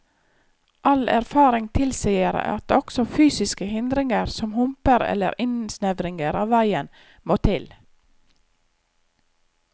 All erfaring tilsier at også fysiske hindringer, som humper eller innsnevringer av veien, må til.